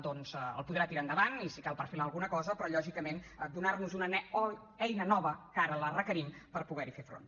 doncs el podrà tirar endavant i si cal perfilar alguna cosa però lògicament donar nos una eina nova que ara la requerim per poder hi fer front